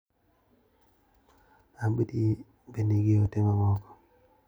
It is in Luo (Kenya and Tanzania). Abdi ne nigi ote mamoko.